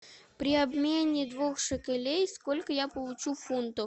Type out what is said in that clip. при обмене двух шекелей сколько я получу фунтов